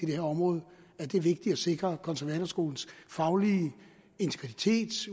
det her område at det er vigtigt at sikre konservatorskolens faglige integritet